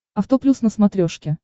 авто плюс на смотрешке